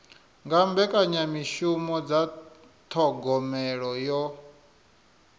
nga mbekanyamishumo dza thogomelo yo